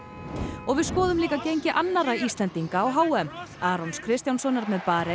og við skoðum líka gengi annarra Íslendinga á h m Arons Kristjánssonar með Barein